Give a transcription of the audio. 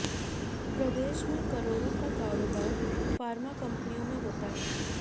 प्रदेश में कराेड़ाें का काराेबार फार्मा कंपनियों में हाेता है